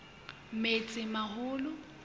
metsimaholo